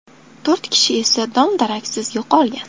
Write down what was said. To‘rt kishi esa dom-daraksiz yo‘qolgan.